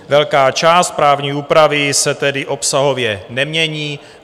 Velká část právní úpravy se tedy obsahově nemění.